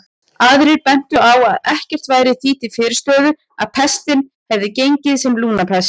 Aðrir bentu á að ekkert væri því til fyrirstöðu að pestin hefði gengið sem lungnapest.